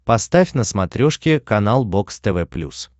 поставь на смотрешке канал бокс тв плюс